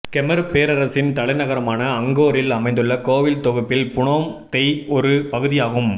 Khmer பேரரசின் தலைநகரமான அங்கோரில் அமைந்துள்ள கோவில் தொகுப்பில் புனோம் தெய் ஒரு பகுதியாகும்